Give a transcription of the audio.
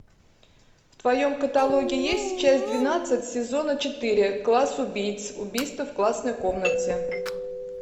в твоем каталоге есть часть двенадцать сезона четыре класс убийц убийство в классной комнате